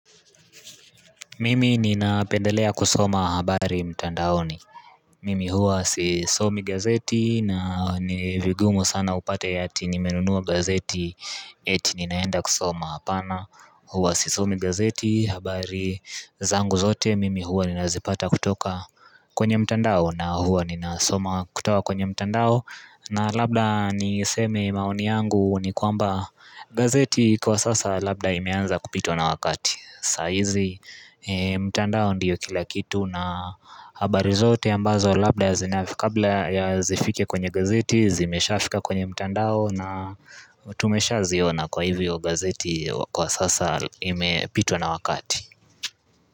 Mimi ninapendelea kusoma habari mtandaoni Mimi huwa sisomi gazeti na ni vigumu sana upate ati nimenunua gazeti eti ninaenda kusoma apana huwa sisomi gazeti habari zangu zote mimi huwa ninazipata kutoka kwenye mtandao na huwa ninasoma kutoka kwenye mtandao na labda niseme maoni yangu ni kwamba gazeti kwa sasa labda imeanza kupitwa na wakati saa hizi mtandao ndiyo kila kitu na habari zote ambazo labda ya zinafika kabla ya zifike kwenye gazeti, zimesha fika kwenye mtandao na tumesha ziona kwa hivyo gazeti kwa sasa imepitwa na wakati.